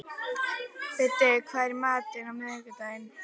Biddi, hvað er í matinn á miðvikudaginn?